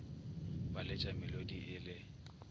ba letša melodi e le